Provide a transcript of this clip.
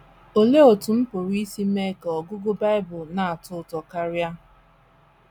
Olee Otú M Pụrụ Isi Mee Ka Ọgụgụ Bible Na - atọ Ụtọ Karị?